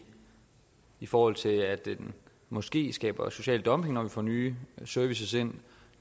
i forhold til at det måske skaber social dumping når vi får nye serviceydelser ind